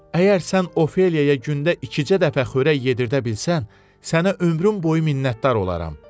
Əgər sən Ofeliyaya gündə ikicə dəfə xörək yedirdə bilsən, sənə ömrüm boyu minnətdar olaram.